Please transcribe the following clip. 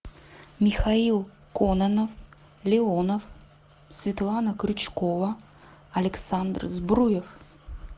михаил кононов леонов светлана крючкова александр сбруев